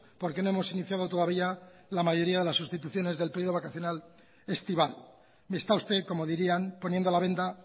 porque no hemos iniciado todavía la mayoría de las sustituciones del periodo vacacional estival me está usted como dirían poniendo la venda